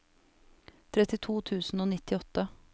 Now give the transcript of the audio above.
trettito tusen og nittiåtte